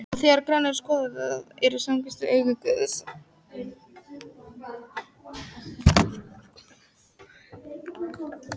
Og þegar grannt er skoðað, eru kvistirnir því augu guðs.